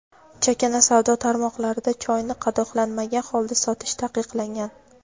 chakana savdo tarmoqlarida choyni qadoqlanmagan holda sotish taqiqlangan.